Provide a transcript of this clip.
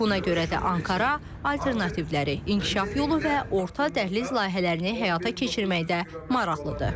Buna görə də Ankara alternativləri inkişaf yolu və orta dəhliz layihələrini həyata keçirməkdə maraqlıdır.